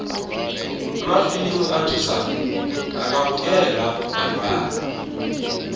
amafilimu athusako akabukelwa bantwana